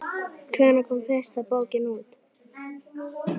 Hvenær kom fyrsta bókin út?